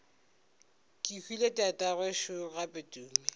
kehwile tatagwe šo gape tumi